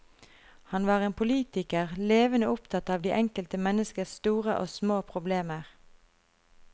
Han var en politiker levende opptatt av det enkelte menneskes store og små problemer.